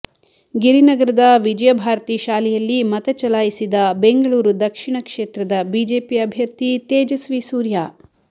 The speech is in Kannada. ಗಿರಿನಗರದ ವಿಜಯ ಭಾರತಿ ಶಾಲೆಯಲ್ಲಿ ಮತ ಚಲಾಯಿಸಿದ ಬೆಂಗಳೂರು ದಕ್ಷಿಣ ಕ್ಷೇತ್ರದ ಬಿಜೆಪಿ ಅಭ್ಯರ್ಥಿ ತೇಜಸ್ವಿ ಸೂರ್ಯ